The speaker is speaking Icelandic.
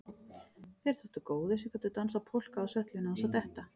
Þeir þóttu góðir sem gátu dansað polka á svellinu án þess að detta.